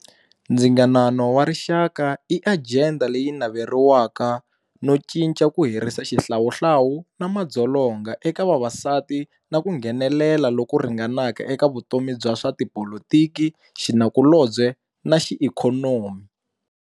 Ndzingano warixaka i ajenda leyi naveriwaka no cinca ku herisa xihlawuhlawu na madzolonga eka vavasati na ku nghenelela loku ringanaka eka vutomi bya swa tipolotiki, xinakulobye naxiikhonomi.